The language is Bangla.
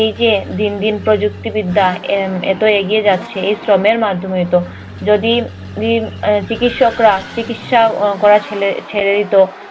এই যে দিন দিন প্রযুক্তিবিদ্যা এর এত এগিয়ে যাচ্ছে, এই শ্রমের মাধ্যমেই তো। যদি এর চিকিৎসকরা চিকিৎসা করা ছেড়ে দিতো,